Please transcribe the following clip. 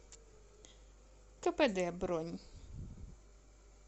кпд бронь